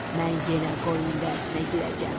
mən yenə qoyun dərisinə girəcəm.